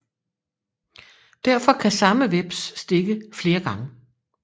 Derfor kan samme hveps stikke flere gange